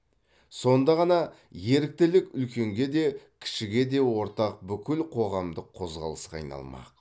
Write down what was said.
сонда ғана еріктілік үлкенге де кішіге де ортақ бүкіл қоғамдық қозғалысқа айналмақ